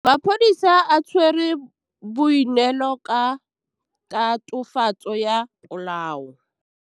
Maphodisa a tshwere Boipelo ka tatofatsô ya polaô.